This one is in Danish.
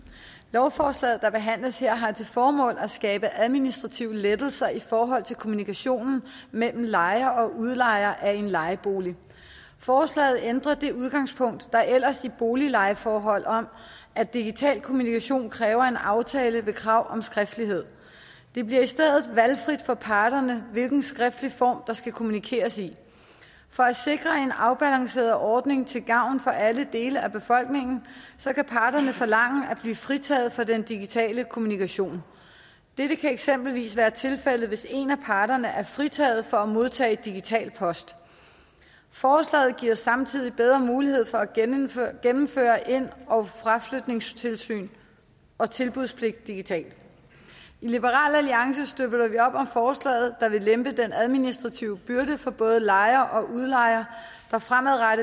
lovforslaget der behandles her har til formål at skabe administrative lettelser i forhold til kommunikationen mellem lejer og udlejer af en lejebolig forslaget ændrer det udgangspunkt der ellers er i boliglejeforhold om at digital kommunikation kræver en aftale ved krav om skriftlighed det bliver i stedet valgfrit for parterne hvilken skriftlig form der skal kommunikeres i for at sikre en afbalanceret ordning til gavn for alle dele af befolkningen kan parterne forlange at blive fritaget for den digitale kommunikation dette kan eksempelvis være tilfældet hvis en af parterne er fritaget for at modtage digital post forslaget giver samtidig bedre mulighed for at gennemføre gennemføre ind og fraflytningstilsyn og tilbudspligt digitalt i liberal alliance støtter vi op om forslaget der vil lempe den administrative byrde for både lejer og udlejer der fremadrettet